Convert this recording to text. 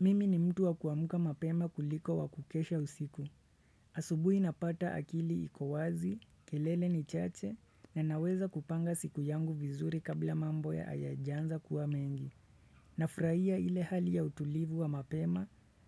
Mimi ni mtu wa kuamka mapema kuliko wa kukesha usiku. Asubuhi napata akili iko wazi, kelele ni chache, nanaweza kupanga siku yangu vizuri kabla mambo ya hayajaanza kuwa mengi. Nafurahia ile hali ya utulivu wa mapema,